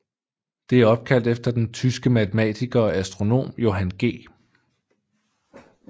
Det er opkaldt efter den tyske matematiker og astronom Johann G